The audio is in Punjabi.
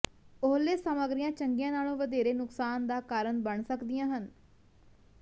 ਓਹਲੇ ਸਾਮੱਗਰੀਆਂ ਚੰਗੀਆਂ ਨਾਲੋਂ ਵਧੇਰੇ ਨੁਕਸਾਨ ਦਾ ਕਾਰਨ ਬਣ ਸਕਦੀਆਂ ਹਨ